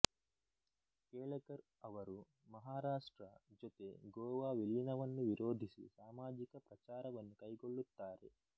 ಕೇಳೆಕರ್ ಅವರು ಮಹಾರಾಷ್ಟ್ರ ಜೊತೆ ಗೋವಾ ವಿಲೀನವನ್ನು ವಿರೋಧಿಸಿ ಸಾಮಾಜಿಕ ಪ್ರಚಾರವನ್ನು ಕೈಗೊಳ್ಳುತ್ತಾರೆ